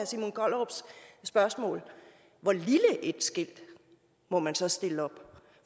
simon kollerups spørgsmål hvor lille et skilt må man så stille op